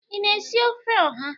Ị na-esi ofe oha?